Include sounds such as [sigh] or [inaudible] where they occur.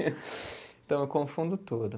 [laughs] Então, eu confundo tudo.